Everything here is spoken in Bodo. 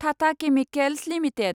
Tata chemicals limited